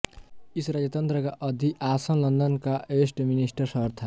इस राजतंत्र का अधिआसन लंदन का वेस्टमिंस्टर शहर था